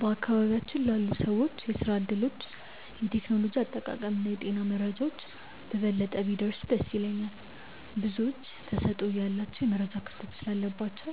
በአካባቢያችን ላሉ ሰዎች የሥራ ዕድሎች፣ የቴክኖሎጂ አጠቃቀምና የጤና መረጃዎች በበለጠ ቢደርሱ ደስ ይለኛል። ብዙዎች ተሰጥኦ እያላቸው የመረጃ ክፍተት ስላለባቸው